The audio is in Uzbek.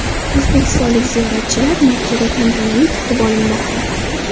O‘zbekistonlik ziyoratchilar Makkada tantanali kutib olinmoqda .